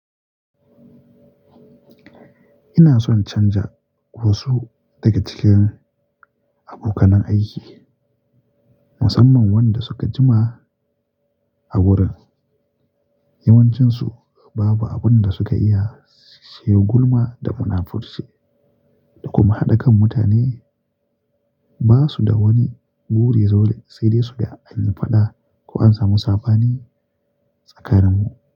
Ina son canza wasu daga cikin abokanan aiki, musamman wanda suka jima a wurin. Yawancinsu babu abin da suka iya shiga gulma da munafurci da kuma haɗa kan mutane. Ba su da wani buri zaule, sai dai su ga an yi faɗa ko an samu saba ni tsakaninmu.